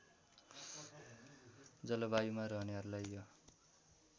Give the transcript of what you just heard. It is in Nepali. जलवायुमा रहनेहरूलाई यो